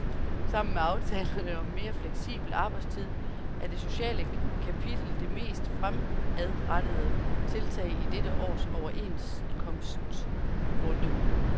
Sammen med aftalerne om mere fleksibel arbejdstid er det sociale kapitel det mest fremadrettede tiltag i dette års overenskomstrunde.